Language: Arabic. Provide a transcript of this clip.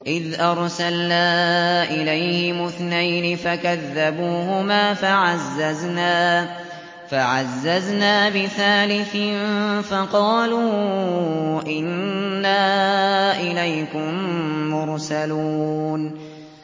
إِذْ أَرْسَلْنَا إِلَيْهِمُ اثْنَيْنِ فَكَذَّبُوهُمَا فَعَزَّزْنَا بِثَالِثٍ فَقَالُوا إِنَّا إِلَيْكُم مُّرْسَلُونَ